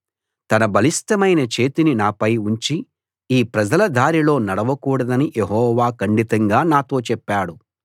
తన బలిష్ఠమైన చేతిని నాపై ఉంచి ఈ ప్రజల దారిలో నడవకూడదని యెహోవా ఖండితంగా నాతో చెప్పాడు